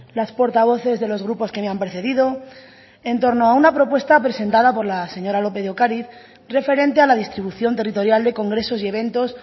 las portavoces de los grupos que me han precedido en torno a una propuesta presentada por la señora lópez de ocariz referente a la distribución territorial de congresos y eventos